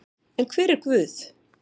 En hver er Guð?